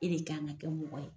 E de kan ka kɛ mɔgɔ ye,